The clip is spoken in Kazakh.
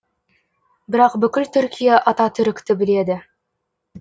бірақ бүкіл түркия ататүрікті біледі